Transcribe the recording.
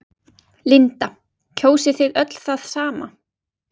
Linda: Kjósið þið öll það sama?